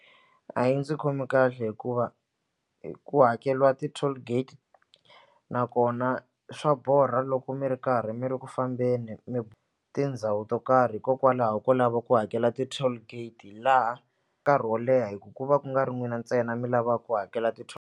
A yi ndzi khomi kahle hikuva ku hakeriwa ti-toll gate nakona swa borha loko mi ri karhi mi ri ku fambeni mi tindhawu to karhi hikokwalaho ko lava ku hakela ti-toll gate laha nkarhi wo leha hikuva ku nga ri n'wina ntsena mi lava ku hakela .